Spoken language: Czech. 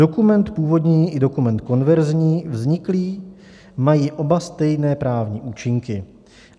Dokument původní i dokument konverzní, vzniklý, mají oba stejné právní účinky.